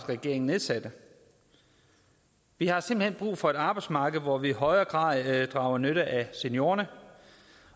regering nedsatte vi har simpelt hen brug for et arbejdsmarked hvor vi i højere grad drager nytte af seniorerne